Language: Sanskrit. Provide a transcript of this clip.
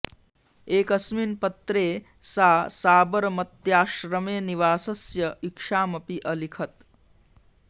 एकस्मिन् पत्रे सा साबरमती आश्रमे निवासस्य इच्छामपि अलिखित्